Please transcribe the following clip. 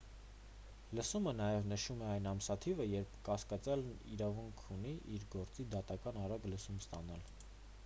լսումը նաև նշում է այն ամսաթիվը երբ կասկածյալն իրավունք ունի իր գործի դատական արագ լսում ստանալ